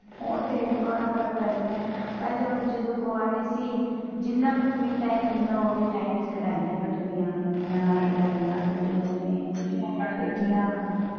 ਉਹ ਤੇ ਬੜਾ ਫਰਕ ਪੈ ਜਾਂਦਾ ਪਹਿਲੇ ਹੁਣ ਜਦੋਂ ਕੁਵਾਰੇ ਸੀ ਜਿੰਨਾ ਵੀ freet i'm ਮਿਲਣਾ ਓਹਦੇ time ਕਢਾਈਆਂ ਕੱਢਣੀਆਂ ਇੰਨੀਆਂ ਕਢਾਈਆਂ ਕੱਢੀਆਂ ਨੇ